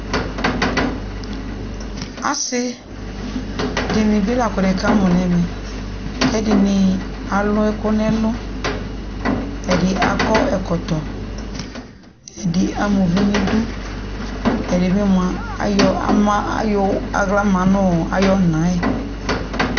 asi di ni bi la ko nekamo no ɛva ko ɛdini alo ɛko no ɛlo ɛdi akɔ ɛkɔtɔ ɛdi ama uvi no idu ɛdibi moa ayɔ ama ayɔ ala ma no ayo ɔna yɛ